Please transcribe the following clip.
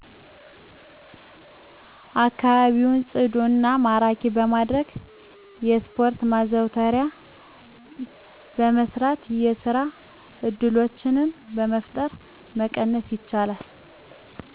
አከባቢውን ጵዱ እና ማራኪ በማድረግ የስፖርት ማዘውተሪያን በማሰራት፣ የስራ እድሎችን በመፍጠር መቀነስ ይቻላል።